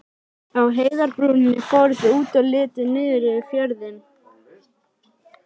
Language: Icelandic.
Á heiðarbrúninni fóru þau út og litu niður yfir fjörðinn.